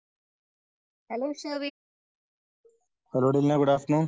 hello